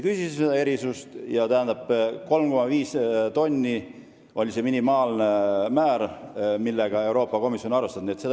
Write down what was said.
Kolm ja pool tonni on see minimaalne määr, millega Euroopa Komisjon on arvestanud.